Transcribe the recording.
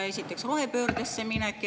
Esiteks, rohepöördesse minek.